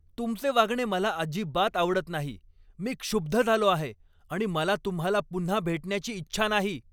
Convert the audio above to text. तुमचे वागणे मला अजिबात आवडत नाही. मी क्षुब्ध झालो आहे आणि मला तुम्हाला पुन्हा भेटण्याची इच्छा नाही!